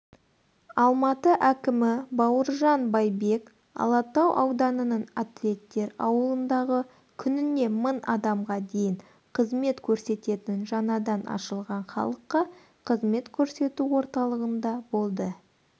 алматы әкімі бауыржан байбек алатау ауданының атлеттер ауылындағы күніне мың адамға дейін қызмет көрсететін жаңадан ашылған халыққа қызмет көрсету орталығында болды